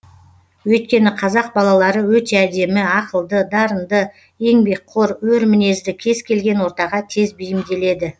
өйткені қазақ балалары өте әдемі ақылды дарынды еңбекқор өр мінезді кез келген ортаға тез бейімделеді